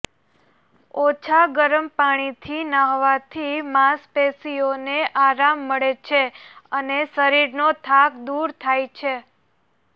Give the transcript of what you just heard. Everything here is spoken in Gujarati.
ઓછા ગરમ પાણીથી નહાવાથી માંસપેશીઓને આરામ મળે છે અને શરીરનો થાક દૂર થાય છે